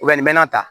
nin bɛ na